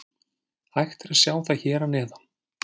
Hægt er að sjá það hér að neðan.